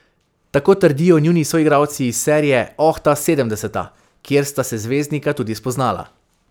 Tako trdijo njuni soigralci iz serije Oh, ta sedemdeseta, kjer sta se zvezdnika tudi spoznala.